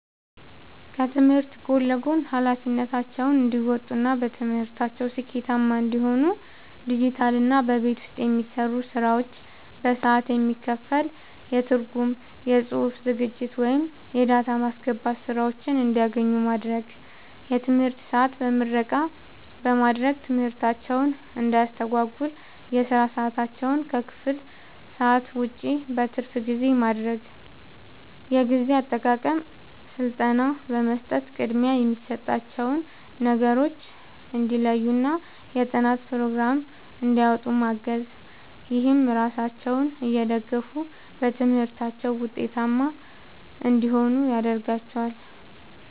ከትምህርት ጎን ለጎን ኃላፊነታቸውን እንዲወጡ እና በትምህርታቸው ስኬታማ እንዲሆኑ ዲጂታልና በቤት ውስጥ የሚሰሩ ስራዎች በሰዓት የሚከፈል የትርጉም፣ የጽሑፍ ዝግጅት ወይም የዳታ ማስገባት ሥራዎችን እንዲያገኙ ማድረግ። የትምህርት ሰዓት በምረቃ በማድረግ ትምህርታቸውን እንዳያስተጓጉል የሥራ ሰዓታቸውን ከክፍል ሰዓት ውጭ (በትርፍ ጊዜ) ማድረግ። የጊዜ አጠቃቀም ሥልጠና በመስጠት ቅድሚያ የሚሰጣቸውን ነገሮች እንዲለዩና የጥናት ፕሮግራም እንዲያወጡ ማገዝ። ይህም ራሳቸውን እየደገፉ በትምህርታቸው ውጤታማ እንዲሆኑ ያደርጋቸዋል።